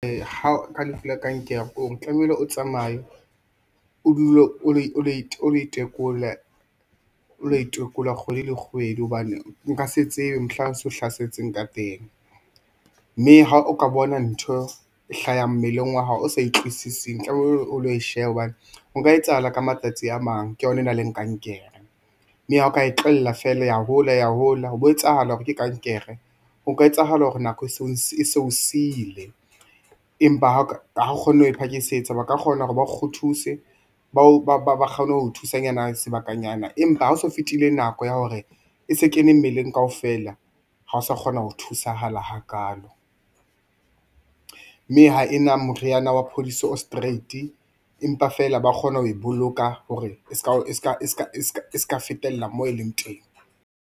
Ka lefu la kankere ke hore tlamehile o tsamaye o dule o lo itekola kgwedi le kgwedi hobane o nka se tsebe mohlang se o hlasetseng ka teng mme ha o ka bona ntho e hlaha mmeleng wa hao o sa e utlwisising, tlamehile o lo e shebe hobane o nka etsahala ka matsatsi a mang ke yona e na le kankere, mme ha o ka e tlohella feela ya hola ya hola ho bo etsahala hore ke kankere ho ka etsahala hore nako e seo sile, empa ha o kgonne ho e phakisetsa ba ka kgona hore ba kgo thuse ba kgone ho thusanyana sebakanyana empa ha o so fetile nako ya hore e se kene mmeleng kaofela ha o sa kgona ho thusahala hakalo, mme ha e na moriyana wa phodiso o straight empa feela ba kgona ho e boloka hore e ska fetella moo e leng teng.